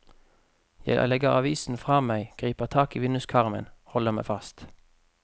Jeg legger avisen fra meg, griper tak i vinduskarmen, holder meg fast.